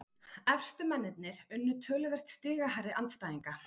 Efstu mennirnir unnu töluvert stigahærri andstæðinga